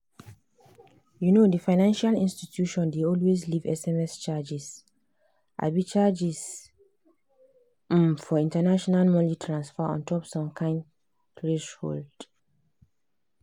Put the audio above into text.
um the financial institution dey always leave sms charges um charges um for international money transfers ontop some kind threshold.